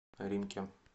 римке